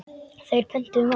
Þeir pöntuðu mat.